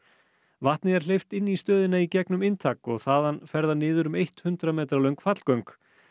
vatni er hleypt inn í stöðina í gegnum inntak og þaðan fer það niður um eitt hundrað metra löng fallgöng